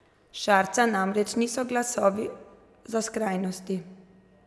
Šarca namreč niso glasovi za skrajnosti.